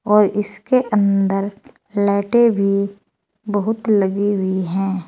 और इसके अंदर लाइटे भी बहुत लगी हुई हैं।